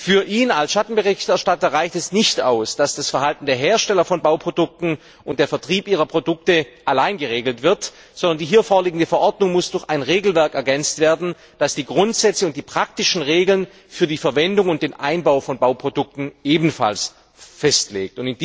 Für ihn als Schattenberichterstatter reicht es nicht aus, dass das Verhalten der Hersteller von Bauprodukten und der Vertrieb ihrer Produkte allein geregelt werden, sondern die hier vorliegende Verordnung muss durch ein Regelwerk ergänzt werden, das die Grundsätze und die praktischen Regeln für die Verwendung und den Einbau von Bauprodukten ebenfalls festlegt.